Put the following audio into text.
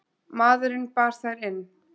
Maðurinn bar þær inn.